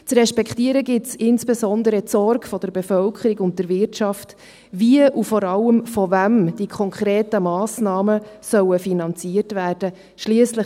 Zu respektieren gilt es insbesondere die Sorge der Bevölkerung und der Wirtschaft, dahingehend wie und vor allem von wem die konkreten Massnahmen finanziert werden sollen.